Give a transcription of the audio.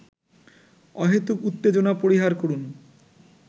অহেতুক উত্তেজনা পরিহার করুন